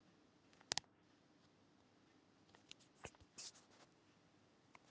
Breki Logason: Og er hún sátt?